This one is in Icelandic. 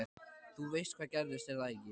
Þú veist hvað gerðist, er það ekki?